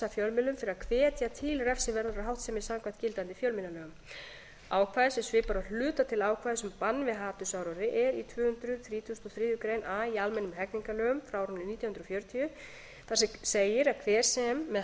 fjölmiðlum fyrir að hvetja til refsiverðrar háttsemi samkvæmt gildandi fjölmiðlalögum ákvæði sem svipar að hluta til ákvæðis um bann við hatursáróðri er í tvö hundruð þrítugustu og þriðju grein a í almennum hegningarlögum frá árinu nítján hundruð fjörutíu þar segir að hver sem með